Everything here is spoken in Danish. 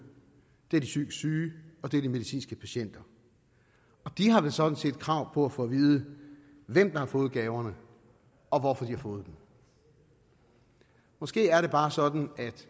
det er de psykisk syge og det er de medicinske patienter og de har vel sådan set krav på at få at vide hvem der har fået gaverne og hvorfor de har fået dem måske er det bare sådan at